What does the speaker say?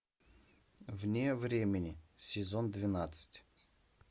вне времени сезон двенадцать